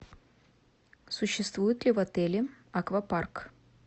существует ли в отеле аквапарк